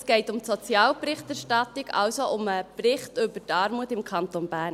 Es geht um die Sozialberichterstattung, also um den Bericht über die Armut im Kanton Bern.